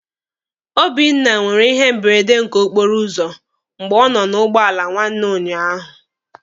Obinna nwere ihe mberede nke okporo ụzọ mgbe ọ nọ na ụgbọala nwanne ụnyaahụ.